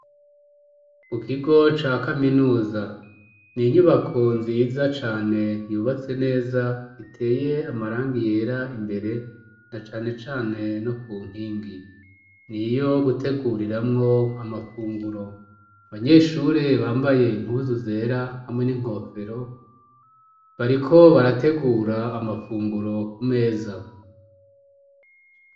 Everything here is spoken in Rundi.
Ku kigo ca kaminuza ni inyubako nziza cane yubatse neza iteye amarangi yera imbere na cane cane no ku nkingi ni iyo guteguriramwo amafunguro abanyeshuri bambaye impuzu zera hamwe n'inkofero bariko barategura amafunguro ku meza.